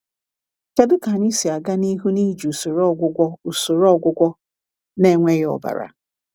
Kedu ka anyị si aga n’ihu n’iji usoro ọgwụgwọ usoro ọgwụgwọ na-enweghị ọbara?